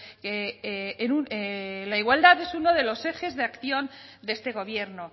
que la igualdad es uno de los ejes de acción de este gobierno